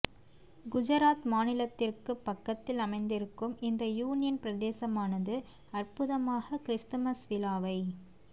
குஜராத் மாநிலத்திற்கு பக்கத்தில் அமைந்திருக்கும் இந்த யூனியன் பிரதேசமானது அற்புதமாக கிறிஸ்துமஸ் விழாவை